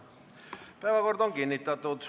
Päevakord on kinnitatud.